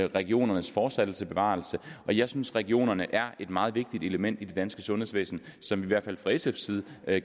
regionernes fortsatte bevarelse jeg synes regionerne er et meget vigtigt element i det danske sundhedsvæsen som vi i hvert fald fra sf side